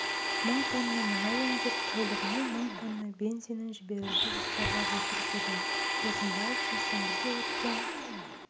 мың тонна мұнай өңдеп тәулігіне мың тонна бензинін жіберуді жоспарлап отыр деді бозымбаев сейсенбіде өткен